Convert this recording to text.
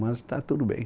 Mas está tudo bem.